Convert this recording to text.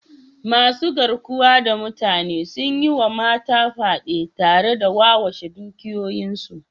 masu garkuwa da mutane sun yi wa mata fyade tare da wawashe dukiyoyinsu